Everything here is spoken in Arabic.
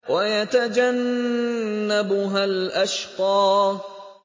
وَيَتَجَنَّبُهَا الْأَشْقَى